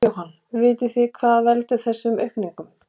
Jóhann: Vitið þið hvað veldur þessari aukningu?